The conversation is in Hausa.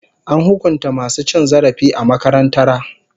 An hukunta masu cin zarafi a makarantara.